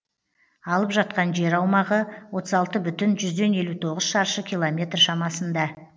алып жатқан жер аумағы отыз алты бүтін жүзден елу тоғыз шаршы километр шамасында